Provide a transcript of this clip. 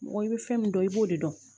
Mɔgɔ i bɛ fɛn min dɔn i b'o de dɔn